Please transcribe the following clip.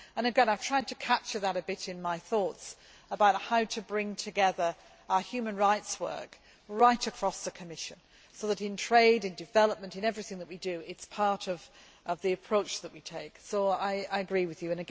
trade. Again, I have tried to capture that a bit in my thoughts about how to bring together our human rights work right across the Commission, so that in trade, in development in everything that we do it is part of the approach that we take, so I agree with